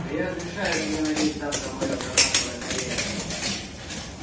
но я разрешаю тебе надеть завтра моё гранатовое колье